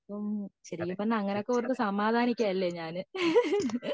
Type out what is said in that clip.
ശെരിക്കും പറഞ്ഞ അങ്ങനെ ഒക്കെ ഓർത്തു സമാധാനിക്ക ലെ ഞാൻ